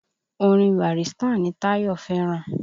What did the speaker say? Orin Barrister ni Tàyọ́ fẹ́ràn